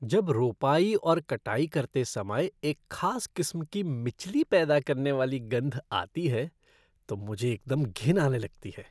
जब रोपाई और कटाई करते समय एक खास किस्म की मिचली पैदा करने वाली गंध आती है तो मुझे एकदम घिन आने लगती है।